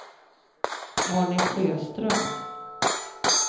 Arne Sjöström